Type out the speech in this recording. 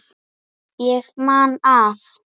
Ég man að